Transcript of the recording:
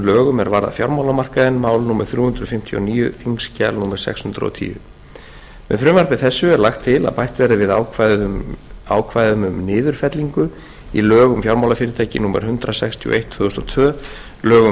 lögum er varða fjármálamarkaðinn mál númer þrjú hundruð fimmtíu og níu á þingskjali númer sex hundruð og tíu með frumvarpi þessu er lagt til að bætt verði við ákvæðum um niðurfellingu í lög um fjármálafyrirtæki númer hundrað sextíu og eitt tvö þúsund og tvö lög um